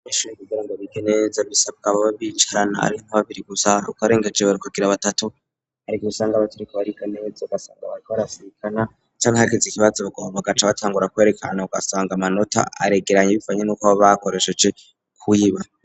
abanyeshuri kugira ngo bigene neza bisabwa babicarana ari nka babiri gusa ukarengaje bakagira batatu ariko busanga batariko bariga neza basanga ba barasirikana canke hagize ikibazo bagomba bagaca batangura kwerekana usanga amanota aregeranye bivanye n'uko babakoresheje kuyiba.